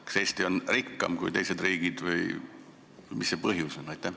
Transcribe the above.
Kas Eesti on rikkam kui teised riigid või mis see põhjus on?